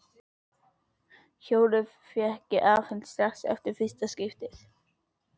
Hjólið fékk ég afhent strax eftir fyrsta skiptið.